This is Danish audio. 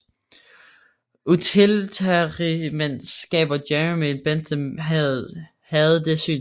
Utilitarismens skaber Jeremy Bentham havde det synspunkt